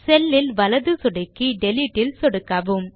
செல் இல் வலது சொடுக்கி டிலீட் ல் சொடுக்கவும்